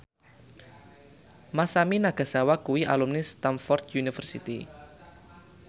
Masami Nagasawa kuwi alumni Stamford University